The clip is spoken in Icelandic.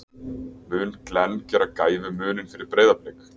Mun Glenn gera gæfumuninn fyrir Breiðablik?